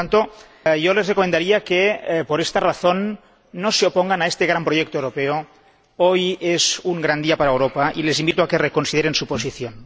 Por lo tanto, yo les recomendaría que por esta razón no se opongan a este gran proyecto europeo. Hoy es un gran día para Europa y les invito a que reconsideren su posición.